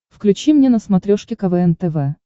включи мне на смотрешке квн тв